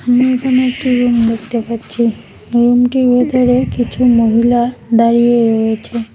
আমি এখানে একটা রুম দেখতে পাচ্ছি রুমটির ভিতরে কিছু মহিলা দাঁড়িয়ে রয়েছে।